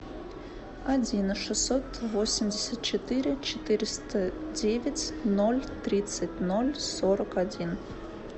один шестьсот восемьдесят четыре четыреста девять ноль тридцать ноль сорок один